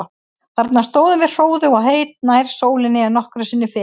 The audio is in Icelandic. Þarna stóðum við hróðug og heit, nær sólinni en nokkru sinni fyrr.